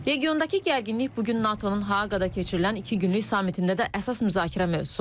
Regiondakı gərginlik bu gün NATO-nun Haaqada keçirilən iki günlük sammitində də əsas müzakirə mövzusu olacaq.